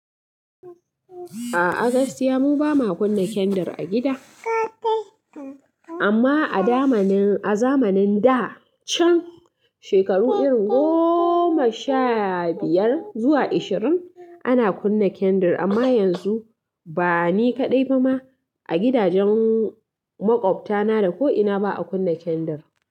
A'a, a Gaskiya mu ba ma kunna kendir a gida. Amma a zamanin da can shekaru irin goma sha biyar zuwa ishirin ana kunna kendir amma yanzu ba ni kaɗai ba ma a gidajen maƙwabtana da ko'ina ba a kunna kendir.